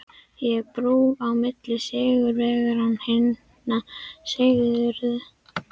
Ég er brú á milli sigurvegaranna og hinna sigruðu.